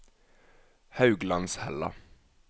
Hauglandshella